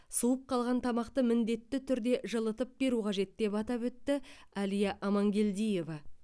суып қалған тамақты міндетті түрде жылытып беру қажет деп атап өтті әлия амангелдиева